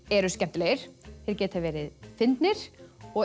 eru skemmtilegir þeir geta verið fyndnir og